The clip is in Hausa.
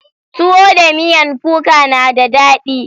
Tuwo da miyan kuka na da daɗi.